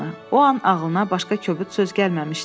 O an ağlına başqa kobud söz gəlməmişdi.